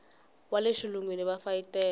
wa le xilungwini va fayetela